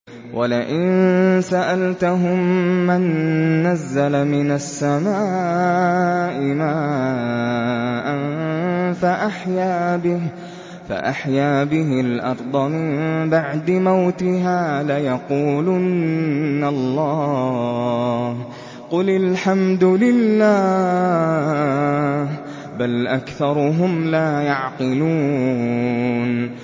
وَلَئِن سَأَلْتَهُم مَّن نَّزَّلَ مِنَ السَّمَاءِ مَاءً فَأَحْيَا بِهِ الْأَرْضَ مِن بَعْدِ مَوْتِهَا لَيَقُولُنَّ اللَّهُ ۚ قُلِ الْحَمْدُ لِلَّهِ ۚ بَلْ أَكْثَرُهُمْ لَا يَعْقِلُونَ